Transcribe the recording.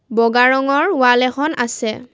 বগা ৰঙৰ ৱাল এখন আছে।